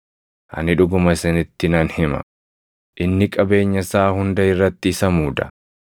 Ani dhuguma isinitti nan hima; inni qabeenya isaa hunda irratti isa muuda.